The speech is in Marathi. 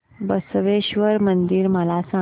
बसवेश्वर मंदिर मला सांग